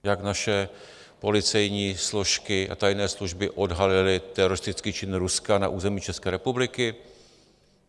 Jak naše policejní složky a tajné služby odhalily teroristický čin Ruska na území České republiky?